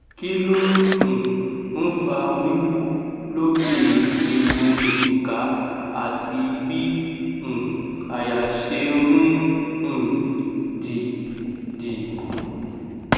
kí ló um ń fa wiwu lo ke egun ejika àti bí um àyà ṣe ń um dí dí